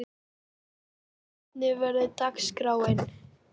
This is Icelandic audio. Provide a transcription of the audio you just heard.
Þórhildur, hvernig verður dagskráin?